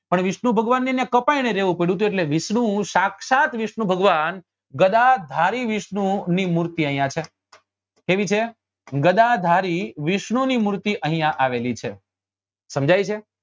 પણ વિષ્ણુ ભગવાનને કપાયને અહિયાં રેવું પડ્યું હતું એટલે વિષ્ણુ સાક્ષાત વિષ્ણુ ભગવાન ગદાધારી વિષ્ણુ ની મૂર્તિ અહિયાં છે કેવી છે ગદાધારી વિષ્ણુ ની મૂર્તિ અહિયાં આવેલી છે સમજાય છે